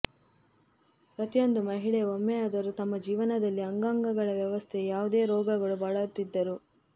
ಪ್ರತಿಯೊಂದು ಮಹಿಳೆ ಒಮ್ಮೆಯಾದರೂ ತಮ್ಮ ಜೀವನದಲ್ಲಿ ಅಂಗಗಳ ವ್ಯವಸ್ಥೆ ಯಾವುದೇ ರೋಗಗಳು ಬಳಲುತ್ತಿದ್ದರು